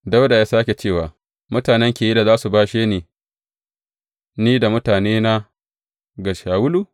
Dawuda ya sāke cewa, Mutanen Keyila za su bashe ni da mutanena ga Shawulu?